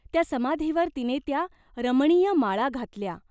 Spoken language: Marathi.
त्या समाधीवर तिने त्या रमणीय माळा घातल्या.